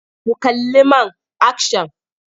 Ku kalli man akshan!